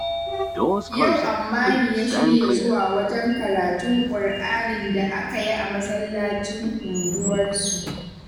Yau Ammani ya shirya zuwa wajen karatun Kur'anin da aka yi a masallacin unguwarsu